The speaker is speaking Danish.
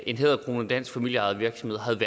en hæderkronet dansk familieejet virksomhed havde